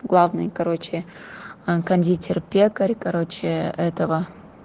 главный короче кондитер пекарь короче этого